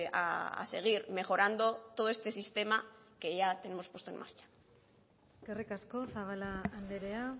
a seguir mejorando todo este sistema que ya tenemos puesto en marcha eskerrik asko zabala andrea